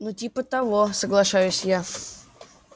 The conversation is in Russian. ну типа того соглашаюсь я